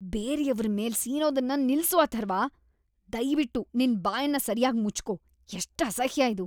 ಬೇರೆಯವ್ರ್‌ ಮೇಲೆ ಸೀನೋದನ್ನ ನಿಲ್ಸು ಅಥರ್ವ. ದಯ್ವಿಟ್ಟು ನಿನ್ ಬಾಯನ್ನ ಸರ್ಯಾಗ್ ಮುಚ್ಕೋ. ಎಷ್ಟ್‌ ಅಸಹ್ಯ ಇದು!